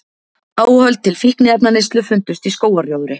Áhöld til fíkniefnaneyslu fundust í skógarrjóðri